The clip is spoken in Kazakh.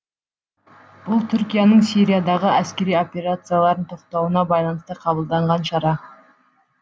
бұл түркияның сириядағы әскери операцияларын тоқтатуына байланысты қабылданған шара